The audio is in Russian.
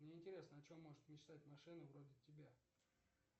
мне интересно о чем может мечтать машина вроде тебя